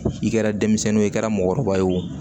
I kɛra denmisɛnnin ye o i kɛra mɔgɔkɔrɔba ye o